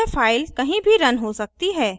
यह फ़ाइल कहीं भी रन हो सकती है